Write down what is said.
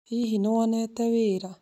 Hihi nĩ wonete wĩra?